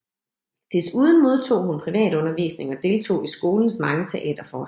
Desuden modtog hun privatundervisning og deltog i skolens mange teaterforestillinger